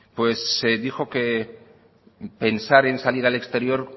pues dijo que pensar en salir al exterior